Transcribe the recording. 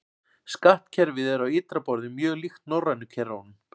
Skattkerfið er á ytra borði mjög líkt norrænu kerfunum.